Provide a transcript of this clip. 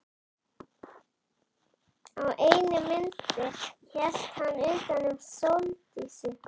Á einni myndinni hélt hann utan um Sóldísi.